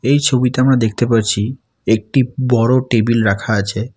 এই ছবিতে আমরা দেখতে পারছি একটি বড়ো টেবিল রাখা আছে।